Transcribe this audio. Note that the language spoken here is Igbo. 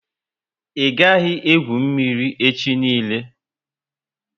I gaghi egwu mmírí echi niile!